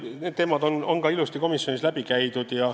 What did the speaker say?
Jaa, need teemad on ka komisjonis ilusti läbi käidud.